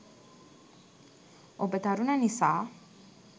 ඔබ තරුණ නිසා